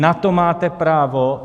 Na to máte právo.